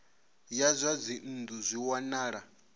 ya zwa dzinnu zwi wanala